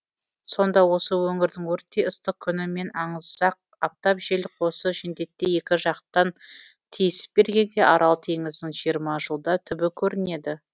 сонда осы өңірдің өрттей ыстық күні мен аңызақ аптап желі қосы жендеттей екі жақтан тиісіп бергенде арал теңізінің жиырма жылда түбі көрінеді